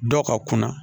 Dɔw ka kunna